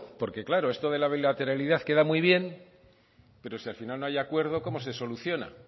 porque claro esto de la bilateralidad queda muy bien pero si al final no hay acuerdo cómo se soluciona